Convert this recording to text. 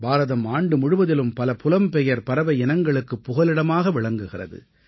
பாரதம் ஆண்டு முழுவதிலும் பல புலம்பெயர் பறவை இனங்களுக்குப் புகலிடமாக விளங்குகிறது